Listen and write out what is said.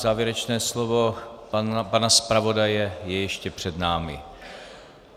Závěrečné slovo pana zpravodaje je ještě před námi.